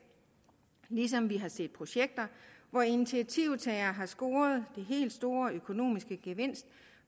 ligesom vi har set projekter hvor initiativtagere har scoret den helt store økonomiske gevinst